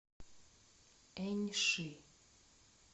эньши